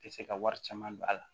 Tɛ se ka wari caman don a la